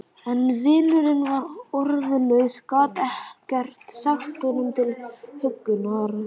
En vinurinn var orðlaus, gat ekkert sagt honum til huggunar.